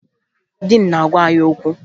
Diin na-agwa anyị okwu